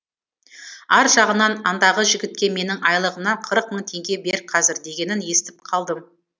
ар жағынан андағы жігітке менің айлығымнан қырық мың теңге бер қазір дегенін естіп қалдым